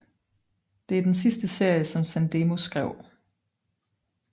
Det er den sidste serie som Sandemo skrev